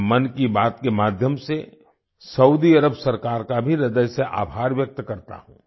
मैं मन की बात के माध्यम से सऊदी अरब सरकार का भी ह्रदय से आभार व्यक्त करता हूँ